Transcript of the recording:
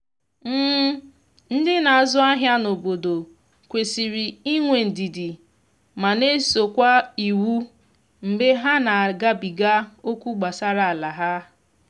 ndi n'azụ ahịa na obodo kwesịrị inwe ndidi ma na eso kwa iwu mgbe ha na agabiga okwu gbasara ala ha.